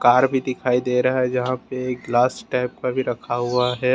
Car भी दिखाई दे रहे हैं जहां पे एक ग्लास टाइप का भी रखा हुआ है।